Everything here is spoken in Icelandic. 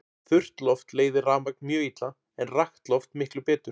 Þurrt loft leiðir rafmagn mjög illa en rakt loft miklu betur.